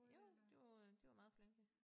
Jo de var de var meget flinke